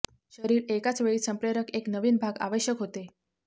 शरीर एकाच वेळी संप्रेरक एक नवीन भाग आवश्यक होते